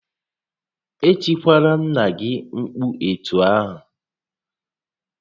E tikwalara nnà gị mkpu etu ahụ!